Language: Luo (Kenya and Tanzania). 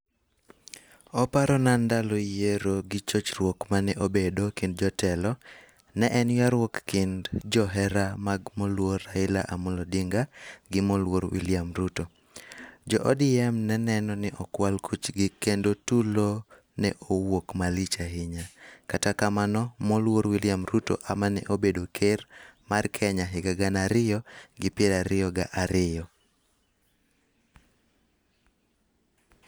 Oparona ndalo yiero gi chochruok mane obedo ekind jotelo. Ne en yuaruok ekind johera mag moluor Raila Amolo Odinga gi moluor William Ruto. Jo ODM ne neno ni okwal kuchgi kendo tulo ne owuok malich ahinya. Kata kamano, moluor William Ruto emane obedo ker mar Kenya ehiga gana ariyo gi piero ariyo kod ariyo.